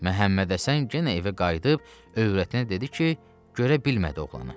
Məhəmmədhəsən genə evə qayıdıb övrətinə dedi ki, görə bilmədi oğlanı.